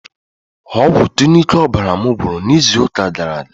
Ọgwụ Tụnic ọbara mụ gwụrụ na izụ ụka gara aga.